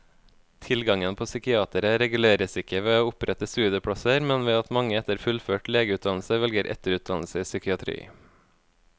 Tilgangen på psykiatere reguleres ikke ved å opprette studieplasser, men ved at mange etter fullført legeutdannelse velger etterutdannelse i psykiatri.